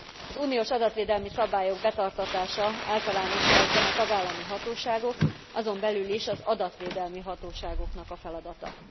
Az uniós adatvédelmi szabályok betartatása általánosságban a tagállami hatóságok, azon belül is az adatvédelmi hatóságoknak a feladata.